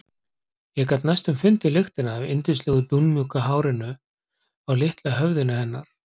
Ég gat næstum fundið lyktina af yndislegu dúnmjúku hárinu á litla höfðinu hennar.